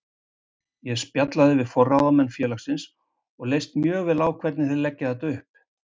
Ég spjallaði við forráðamenn félagsins og leist mjög vel á hvernig þeir leggja þetta upp.